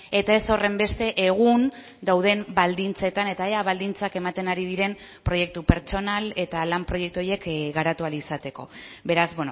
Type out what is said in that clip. eta ez horrenbeste egun dauden baldintzetan eta ea baldintzak ematen ari diren proiektu pertsonal eta lan proiektu horiek garatu ahal izateko beraz